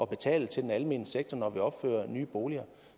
betale til den almene sektor når vi opfører nye boliger